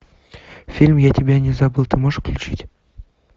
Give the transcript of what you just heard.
фильм я тебя не забыл ты можешь включить